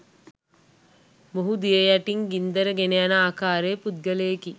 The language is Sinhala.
මොහු දිය යටින් ගින්දර ගෙනයන ආකාරයේ පුද්ගලයෙකි.